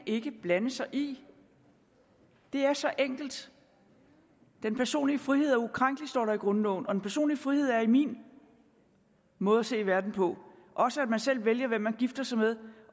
ikke blande sig i det er så enkelt den personlige frihed er ukrænkelig står der i grundloven og den personlige frihed er i min måde at se verden på også at man selv vælger hvem man gifter sig med